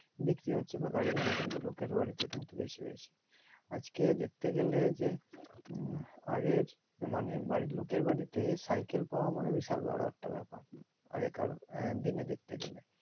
বিক্রি হচ্ছে বা গাড়ি ঘোড়া লোকের বাড়িতে কিন্তু বেশি বেশি হয়ে যাচ্ছে আজকে দেখতে গেলে যে উম আগের মানে বাড়ি লোকের বাড়িতে cycle পাওয়া কিন্তু একটা বিশাল বোরো একটা বড়ো ব্যাপার আগেকার দিনে দেখতে গেলে